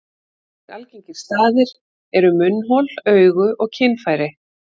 Aðrir algengir staðir eru munnhol, augu og kynfæri.